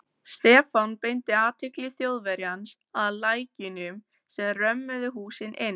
Stefán beindi athygli Þjóðverjans að lækjunum sem römmuðu húsin inn.